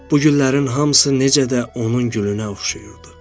Bu güllərin hamısı necə də onun gülünə oxşayırdı.